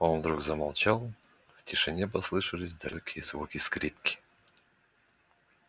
он вдруг замолчал в тишине послышались далёкие звуки скрипки